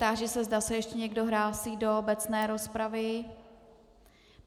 Táži se, zda se ještě někdo hlásí do obecné rozpravy?